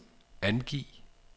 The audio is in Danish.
angiv